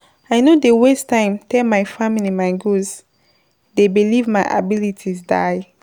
I no dey waste time tell my family my goals, dey believe my abilities die.